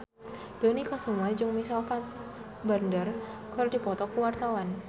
Dony Kesuma jeung Michael Fassbender keur dipoto ku wartawan